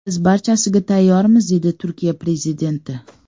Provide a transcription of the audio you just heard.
Biz barchasiga tayyormiz”, dedi Turkiya prezidenti.